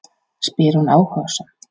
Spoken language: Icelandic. spyr hún áhugasöm.